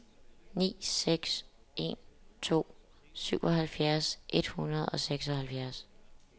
ni seks en to syvoghalvfjerds et hundrede og seksoghalvfjerds